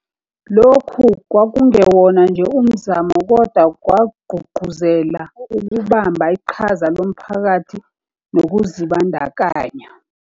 Lokhu kwakungewona nje umzamo, kodwa kwagqugquzela ukubamba iqhaza komphakathi nokuzibandakanya.